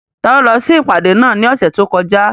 Taló lọ sí ìpàdé náà ní ọ̀sẹ̀ tó kọjá?